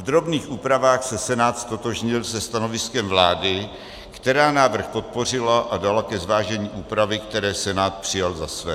V drobných úpravách se Senát ztotožnil se stanoviskem vlády, která návrh podpořila a dala ke zvážení úpravy, které Senát přijal za své.